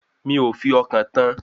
Mi ò fi ọkàn tán an